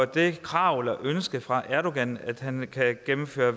det krav eller ønske fra erdogan at han kan gennemføre